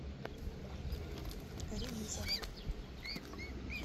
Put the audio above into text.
ремизова